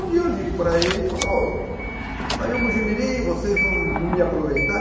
Um dia eu ligo para ele e falo, ô saiu Mogi mirim, vocês não não me aproveitaram?